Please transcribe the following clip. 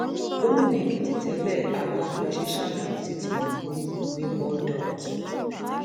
gomina ekìtì tẹlẹ ayọ fáyọsẹ ṣàbẹwò sí tinubu ní bourdault